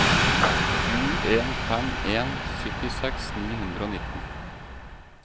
sju en fem en syttiseks ni hundre og nitten